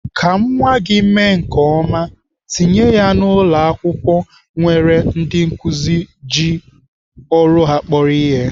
Ka nwa gị mee nke ọma, tinye ya na ụlọakwụkwọ nwere ndị nkụzi ji ọrụ ha kporo ihe.